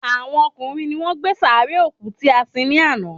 Àwọn ọkùnrin ni wọ́n gbé sàárè òkú tí a sin ní àná